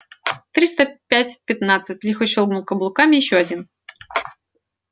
триста пять пятнадцать лихо щёлкнул каблуками ещё один